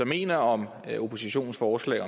mener om oppositionens forslag